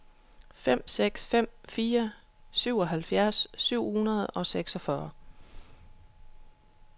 fem seks fem fire syvoghalvfjerds syv hundrede og seksogfyrre